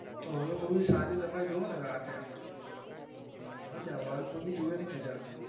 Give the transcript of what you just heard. horror movie સારી તમે જોવો ને રાતે એમ. મજા આવે horror movie જોવની પણ મજા આવે.